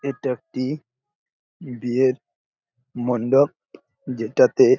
এটা একটি বিয়ের মণ্ডপ যেটাতে--